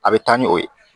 A bɛ taa ni o ye